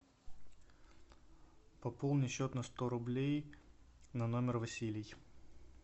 пополни счет на сто рублей на номер василий